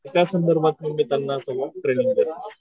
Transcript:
त्या संदर्भात मी त्यांना ट्रेनिंग देतो